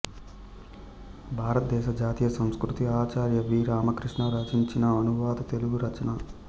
భారతదేశ జాతీయ సంస్కృతి ఆచార్య వి రామకృష్ణ రచించిన అనువాద తెలుగు రచన